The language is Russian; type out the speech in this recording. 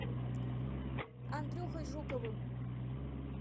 андрюхой жуковым